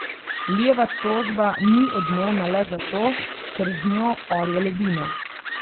Lijeva tožba ni odmevna le zato, ker z njo orje ledino.